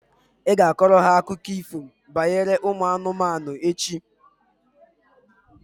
Ị ga-akọrọ ha akụkọ ifo banyere ụmụ anụmanụ echi?